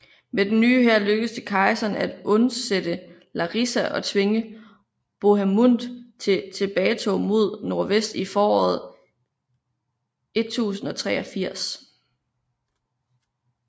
Med den nye hær lykkedes det kejseren at undsætte Larissa og tvinge Bohemund til tilbagetog mod nordvest i foråret 1083